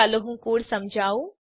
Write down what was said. ચાલો હું કોડ સમજાવું